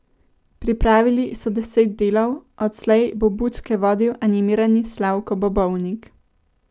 Pripravili so deset delov, odslej bo Bučke vodil animirani Slavko Bobovnik.